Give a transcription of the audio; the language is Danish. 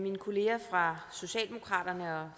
mine kolleger fra socialdemokratiet og